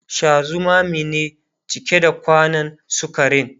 Sha zumame ne cike da kwanan sukarin